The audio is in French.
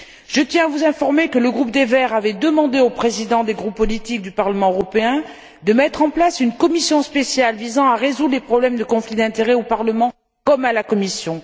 Je tiens à vous informer que le groupe des Verts avait demandé aux présidents des groupes politiques du Parlement européen de mettre en place une commission spéciale visant à résoudre les problèmes de conflits d'intérêts au Parlement comme à la Commission.